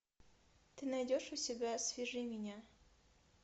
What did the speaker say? ты найдешь у себя свяжи меня